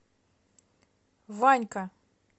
ванька